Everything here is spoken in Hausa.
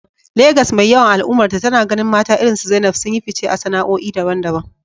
Legas mai yawan al’ummarta, tana ganin mata irinsu Zainab sun yi fice a sana’o’i daban-daban.